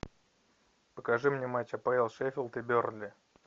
покажи мне матч апл шеффилд и бернли